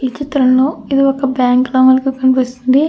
ఈ చిత్రంలో ఇది ఒక బ్యాంకు లాగా కనిపిస్తుంది.